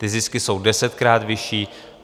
Ty zisky jsou desetkrát vyšší.